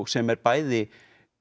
sem er bæði